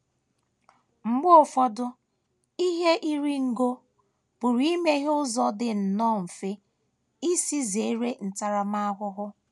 Mgbe ụfọdụ, ihe iri ngo pụrụ imeghe ụzọ dị nnọọ mfe isi zere ntaramahụhụ.